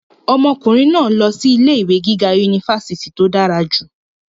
ọmọkùnrin náà lọ sí ilé ìwé gíga unifásitì tó dára jù